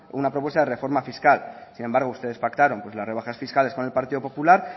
una propuesta de reforma fiscal sin embargo ustedes pactaron pues las rebajas fiscales con el partido popular